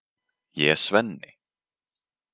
Ég er Svenni.